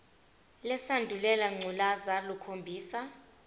lesandulela ngculazi lukhombisa